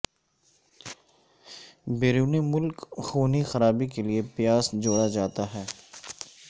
اور بیرون ملک خونی خرابی کے لئے پیاس جوڑا جاتا ہے